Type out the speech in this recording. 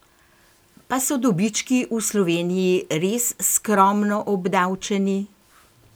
Pa so dobički v Sloveniji res skromno obdavčeni?